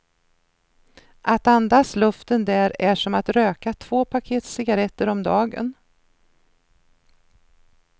Att andas luften där är som att röka två paket cigaretter om dagen.